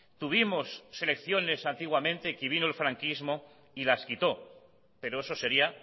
tuvimos selecciones antiguamente y que vino el franquismo y las quitó pero eso sería